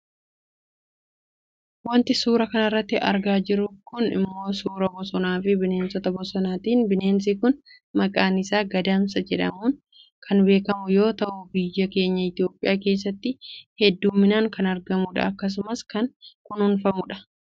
Wanti suuraa kanarratti argaa jirru kun ammoo suuraa bosonaafi bineensa bosonaatidha bineensi kun maqaan isaa Gadamsa jedhaamuun kan beekkamu yoo ta'u biyya keenya Itoopiyaa keessatti heddumminaan kan argamudha, akkasumas kan kunuunfamudha.